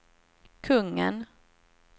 kungen